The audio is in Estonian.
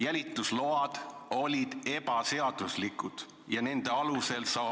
Jälitusload olid ebaseaduslikud ja nende alusel saadud ...